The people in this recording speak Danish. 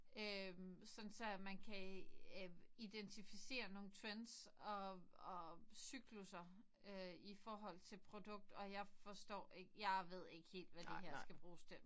Øh sådan så man kan øh identificere nogle trends og og cyklusser øh i forhold til produkt og jeg forstår ikke jeg ved ikke helt hvad der her skal bruges til